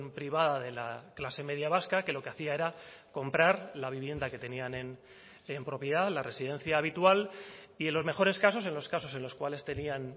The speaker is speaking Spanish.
privada de la clase media vasca que lo que hacía era comprar la vivienda que tenían en propiedad la residencia habitual y en los mejores casos en los casos en los cuales tenían